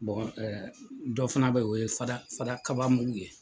ɛ dɔ fana bɛ yen o ye fada fada kaba mugu ye.